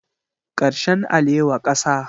Karshen alewa kasa